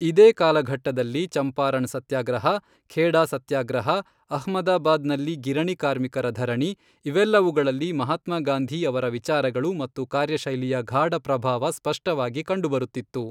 ಇದೇ ಕಾಲಘಟ್ಟದಲ್ಲಿ ಚಂಪಾರಣ್ ಸತ್ಯಾಗ್ರಹ, ಖೇಡಾ ಸತ್ಯಾಗ್ರಹ, ಅಹ್ಮದಾಬಾದ್ ನಲ್ಲಿ ಗಿರಣಿ ಕಾರ್ಮಿಕರ ಧರಣಿ ಇವೆಲ್ಲವುಗಳಲ್ಲಿ ಮಹಾತ್ಮಾ ಗಾಂಧೀ ಅವರ ವಿಚಾರಗಳು ಮತ್ತು ಕಾರ್ಯಶೈಲಿಯ ಗಾಢ ಪ್ರಭಾವ ಸ್ಪಷ್ಟವಾಗಿ ಕಂಡುಬರುತ್ತಿತ್ತು.